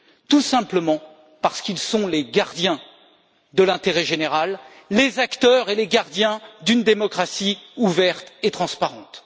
Tout simplement parce qu'ils sont les gardiens de l'intérêt général, les acteurs et les gardiens d'une démocratie ouverte et transparente.